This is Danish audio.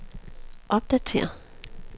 opdatér